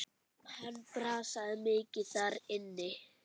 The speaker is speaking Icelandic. Hann brasaði mikið þar inni.